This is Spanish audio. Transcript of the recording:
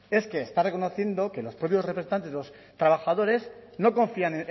es que está reconociendo que los propios representantes de los trabajadores no confían